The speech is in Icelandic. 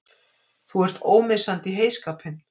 Þú ert ómissandi í heyskapinn!!